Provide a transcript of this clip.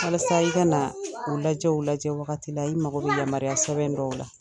Walasa i ka na u lajɛ u lajɛ wagati la i mago bɛ yamaruya sɛbɛn dɔw la.